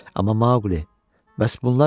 Amma Maqli, bəs bunlar nədən ölüblər?